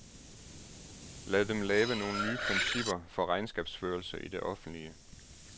Lad dem lave nogle nye principper for regnskabsførelse i det offentlige.